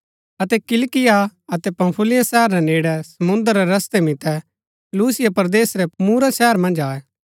अतै किलिकिया अतै पंफूलिया शहर रै नेड़ै समुंद्र रै रस्तै मितै लूसिया परदेस रै मूरा शहर मन्ज आये